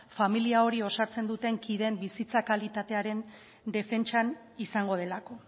familia hori osatzen duten kideen bizitza kalitatearen defentsan izango delako